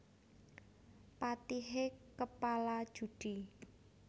Patihe kepala judhi